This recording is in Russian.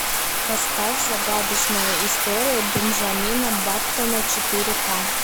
поставь загадочная история бенджамина баттона четыре ка